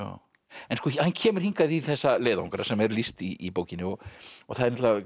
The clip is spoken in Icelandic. en hann kemur hingað í þessa leiðangra sem er lýst í bókinni og það er